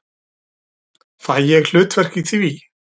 Fæ ég hlutverk í því?